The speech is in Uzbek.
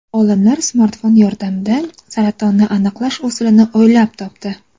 Olimlar smartfon yordamida saratonni aniqlash usulini o‘ylab topdi.